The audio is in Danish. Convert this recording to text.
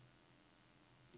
Vælg første fil i favoritter.